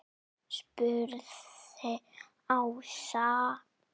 spurði Ása.